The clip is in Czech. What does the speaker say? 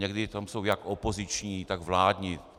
Někdy tam jsou jak opoziční, tak vládní.